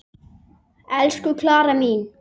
Elsku Klara mín.